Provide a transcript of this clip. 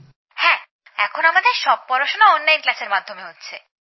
হ্যাঁ এখন আমাদের সব পড়াশোনা অনলাইন ক্লাসের মাধ্যমে হচ্ছে